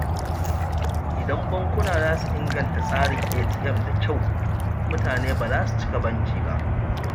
Idan bankuna za su inganta tsarin ATM da kyau, mutane ba za su cika banki ba.